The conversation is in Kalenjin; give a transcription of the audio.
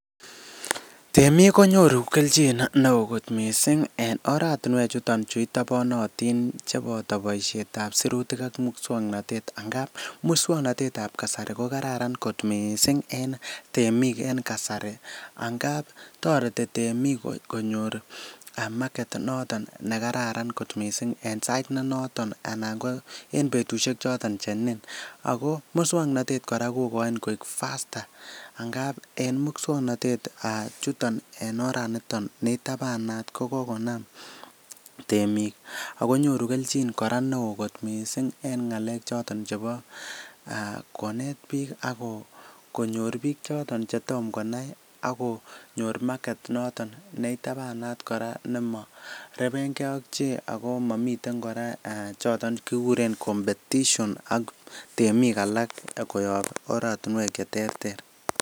Temik konyoru kelchin neo kot mising en oratinwek chuton chu itobonotin cheboto boisiet ab sirutik ak muswoknatet angamun. Muswokanatet ab kasari ko kararan kot mising en temik en kasari angab toreti temik konyor market noton ne kararan kot mising en sait ne noton anan ko en betushek choton che nin ago muswoknatet kora kogochin koik faster angab en muswoknatet ab chuton en oraniton ni itabanat ko kogonam temik ago nyoru kelchin kora neo kot mising en ng'alek choton chebo konet biik ak konyor biik choton che tom konai ak konyor market noton ne itabanat kora nemorebenge ak chi ago momiten kora choton kiguuren competition ak temik alak koyob oratinwek che terter.